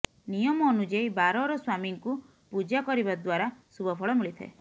ନିୟମ ଅନୁଯାୟୀ ବାରର ସ୍ୱାମୀଙ୍କୁ ପୂଜା କରିବା ଦ୍ୱାରା ଶୁଭ ଫଳ ମିଳିଥାଏ